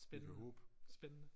Spændende spændende